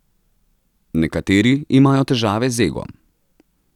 Nekateri imajo težave z egom.